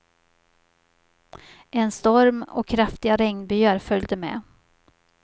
En storm och kraftiga regnbyar följde med.